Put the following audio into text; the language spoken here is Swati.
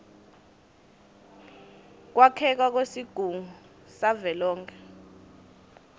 kwakheka kwesigungu savelonkhe